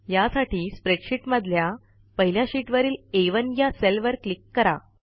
यासाठी स्प्रेडशीट मधल्या पहिल्या शीटवरील आ1 या सेलवर क्लिक करा